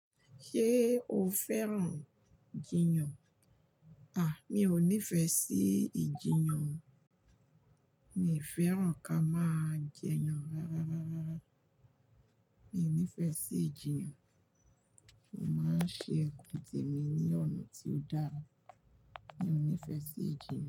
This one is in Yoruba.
Ṣé o fẹ́ràn lati maa jiyàn? Mi ò nífẹ̀ẹ́ lati maa jiyàn. Mi o fẹ́ràn ká máa jiyàn rárá, Mi ò nífẹ̀ẹ́ sí ìjiyàn. Mo máa ń ṣe nnkan temi ní ọ̀nà tí ó dára. Mi ò nífẹ̀ẹ́ sí ìjiyàn.